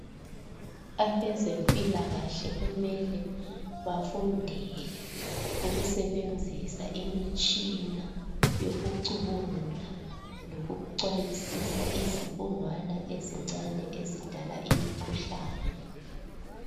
Abazempilakahle kumele bafundele ukusebenzisa imitshina yokucubungula lokucwayisisa izibungwana ezincane ezidala imikhuhlane